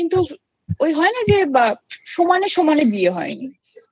ওই হয় না যে সমানে সমানে বিয়ে হয় নি তোহু হু